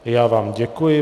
Já vám děkuji.